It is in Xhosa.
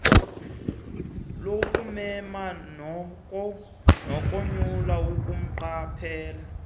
lokumema nokonyula kumqaphela